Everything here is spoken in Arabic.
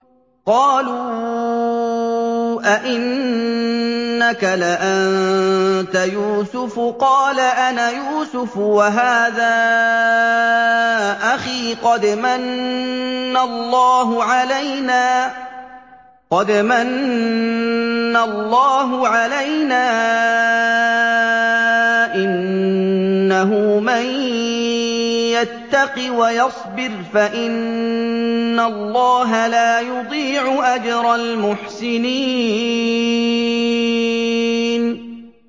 قَالُوا أَإِنَّكَ لَأَنتَ يُوسُفُ ۖ قَالَ أَنَا يُوسُفُ وَهَٰذَا أَخِي ۖ قَدْ مَنَّ اللَّهُ عَلَيْنَا ۖ إِنَّهُ مَن يَتَّقِ وَيَصْبِرْ فَإِنَّ اللَّهَ لَا يُضِيعُ أَجْرَ الْمُحْسِنِينَ